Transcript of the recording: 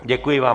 Děkuji vám.